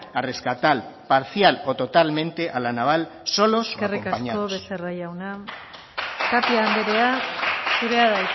a rescatar parcial o totalmente a la naval solos eskerrik asko becerra jauna tapia andrea